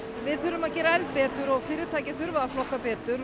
við þurfum að gera betur og fyrirtæki þurfa að flokka betur